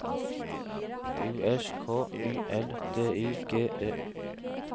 U S K Y L D I G E